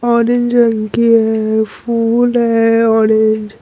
औंरेज रंग की हे फुल हे औंरेज ---